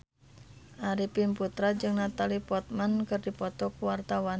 Arifin Putra jeung Natalie Portman keur dipoto ku wartawan